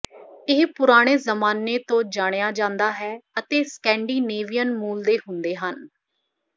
ਇਹ ਪੁਰਾਣੇ ਜ਼ਮਾਨੇ ਤੋਂ ਜਾਣਿਆ ਜਾਂਦਾ ਹੈ ਅਤੇ ਸਕੈਂਡੀਨੇਵੀਅਨ ਮੂਲ ਦੇ ਹੁੰਦੇ ਹਨ